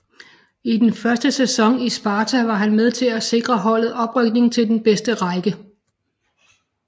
I den første sæson i Sparta var han med til at sikre holdet oprykning til den bedste række